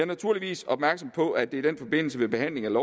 naturligvis opmærksom på at det i den forbindelse ved behandlingen